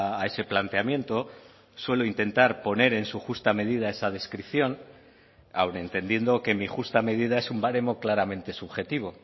a ese planteamiento suelo intentar poner en su justa medida esa descripción aun entendiendo que mi justa medida es un baremo claramente subjetivo